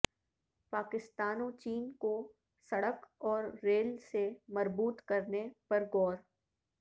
پاکستان و چین کو سڑک اور ریل سے مربوط کرنے پر غور